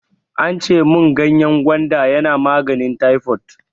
Ance mun ganyen gwanda yana maganin taifot.